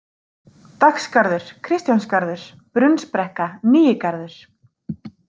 Dagsgarður, Kristjánsgarður, Brunnsbrekka, Nýigarður